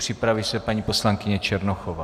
Připraví se paní poslankyně Černochová.